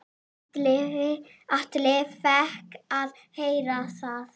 Atli fékk að heyra það.